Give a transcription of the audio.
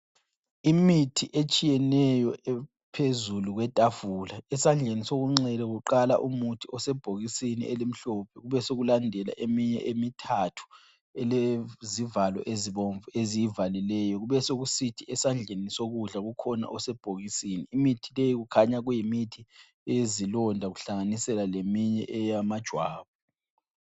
Imithi etshiyeneyo ephezulu kwetafula. Esandleni sokunxele kuqala umuthi osebhokisini elimhlophe, kubesekulandela eminye emithathu elezivalo ezibomvu eziyivalileyo. Kubesokusithi esandleni sokudla kukhona osebhokisini. Imithi leyi kukhanya kuyimithi eyezilonda kuhlanganisela leminye eyamajwabu.